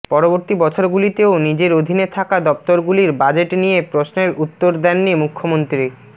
পরবর্তী বছরগুলিতেও নিজের অধীনে থাকা দফতরগুলির বাজেট নিয়ে প্রশ্নের উত্তর দেননি মুখ্যমন্ত্রী